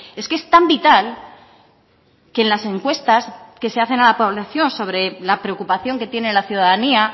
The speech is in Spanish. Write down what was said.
es que es tan vital que en las encuestas que se hacen a la población sobre la preocupación que tiene la ciudadanía